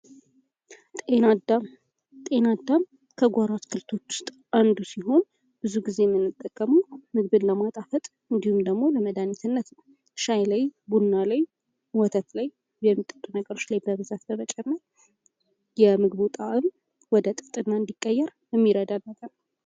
ጤና አዳም፦ ጤና አዳም ከጓሮ አትክልቶች ውስጥ አንዱ ሲሆን ብዙ ጊዜ ምንጠቀመው ምግብን ለማጣፈጥ እንዲሁም ደሞ ለመዳኒትነት ሻይ ላይ፣ ቡና ላይ፣ ወተት ላይ የሚጠጡ ነገሮች ላይ በብዛት በመጨመር የምፍቡ ጣዕም ወደ ጥፍጥና እንድቀየር የሚረዳን ነገር ነው።